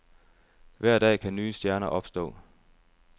Hver dag kan nye stjerner opstå.